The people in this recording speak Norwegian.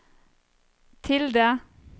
tilde